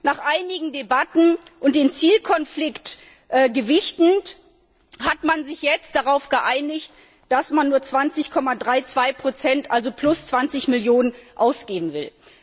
Nach einigen Debatten und den Zielkonflikt gewichtend hat man sich jetzt darauf geeinigt, dass man nur 20,32 also plus 20 Millionen Euro ausgeben will.